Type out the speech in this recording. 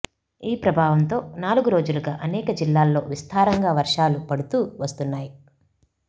ఈ ప్రభావంతో నాలుగు రోజులుగా అనేక జిల్లాల్లో విస్తారంగా వర్షాలు పడుతూ వస్తున్నాయి